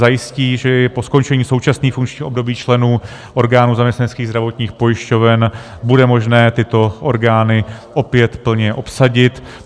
Zajistí, že po skončení současného funkčního období členů orgánů zaměstnaneckých zdravotních pojišťoven bude možné tyto orgány opět plně obsadit.